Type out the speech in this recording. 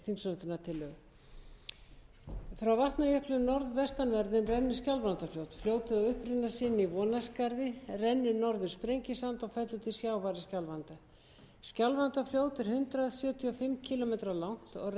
á uppruna sinn í vonarskarði rennur norður sprengisand og fellur til sjávar í skjálfanda skjálfandafljót er hundrað sjötíu og fimm kílómetra langt og rennur um stórbrotið og fjölbreytt